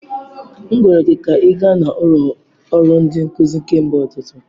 M gwara gị ka ị gaa n'ụlọ ọrụ ndi nkuzi kemgbe ụtụtụ.